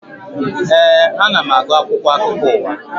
Ee, ana m agụ akwụkwọ akụkọ ụwa